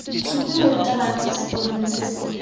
supe morutabana kwa sekolong sese